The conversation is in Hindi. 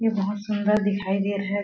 ये बहोत सुंदर दिखाई दे रहा है।